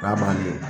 K'a ban de